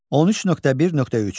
13.1.3.